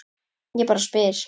Ég bara spyr!